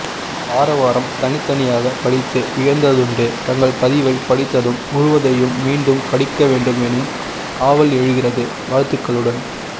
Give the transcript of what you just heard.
வாராவாரம் தனித்தனியாகப் படித்து வியந்ததுண்டு தங்கள் பதிவைப் படித்ததும் முழுவதையும் மீண்டும் படிக்கவேண்டும் எனும் ஆவல் எழுகிறது வாழ்த்துக்களுடன்